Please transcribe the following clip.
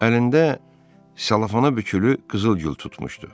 Əlində selofana bükülü qızılgül tutmuşdu.